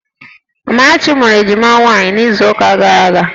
Amarachi mụrụ ejima nwaanyị n'izuụka gara aga